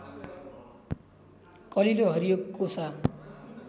कलिलो हरियो कोसा